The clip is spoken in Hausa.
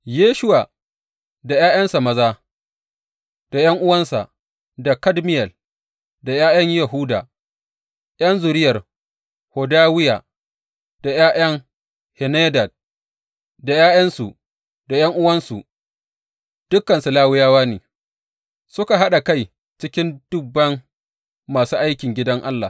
Yeshuwa da ’ya’yansa maza, da ’yan’uwansa, da Kadmiyel da ’ya’yan Yahuda ’yan zuriyar Hodawiya, da ’ya’yan Henadad, da ’ya’yansu da ’yan’uwansu, dukansu Lawiyawa ne, suka haɗa kai cikin duban masu aikin gidan Allah.